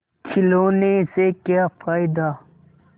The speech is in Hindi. खिलौने से क्या फ़ायदा